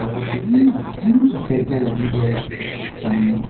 और कुछ खिड़कियां लगी हुई है सामने--